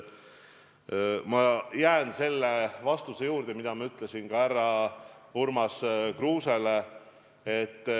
Ma jään selle vastuse juurde, mida ma ütlesin härra Urmas Kruusele.